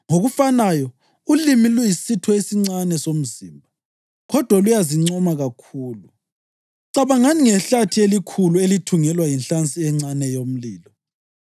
Ngokufanayo ulimi luyisitho esincane somzimba kodwa luyazincoma kakhulu. Cabangani ngehlathi elikhulu elithungelwa yinhlansi encane yomlilo.